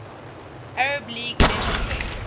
arab league member states